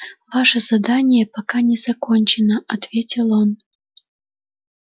ваше задание пока не закончено ответил он